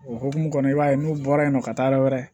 O hukumu kɔnɔna i b'a ye n'u bɔra yen nɔ ka taa yɔrɔ wɛrɛ